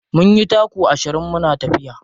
Mun yi taku ashirin muna tafiya.